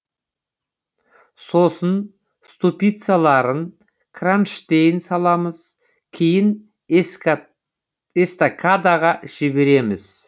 сосын ступицаларын кронштейн саламыз кейін эстакадаға жібереміз